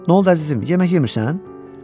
Nə oldu əzizim, yemək yemirsən?